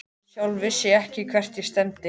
Sjálf vissi ég ekkert hvert ég stefndi.